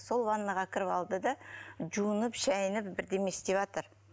сол ваннаға кіріп алды да жуынып шайынып бірдеме істеватыр